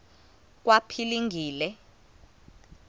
kwaphilingile